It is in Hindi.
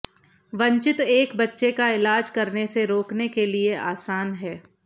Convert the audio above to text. वंचित एक बच्चे का इलाज करने से रोकने के लिए आसान है